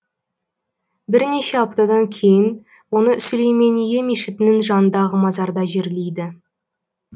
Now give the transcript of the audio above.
бірнеше аптадан кейін оны сүлеймение мешітінің жанындағы мазарда жерлейді